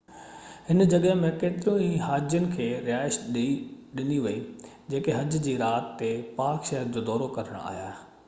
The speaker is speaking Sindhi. هن جڳهہ ۾ ڪيترن ئي هاجين کي رهائش ڏني وئي جيڪي حج جي رات تي پاڪ شهر جو دورو ڪرڻ آيا